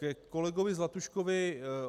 Ke kolegu Zlatuškovi.